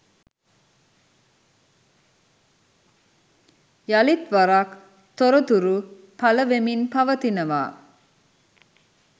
යලිත්වරක් තොරතුරු පලවෙමින් පවතිනවා.